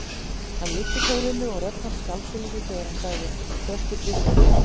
Hann lyfti tólinu og rödd hans skalf svolítið þegar hann sagði: Þröstur Björnsson hér.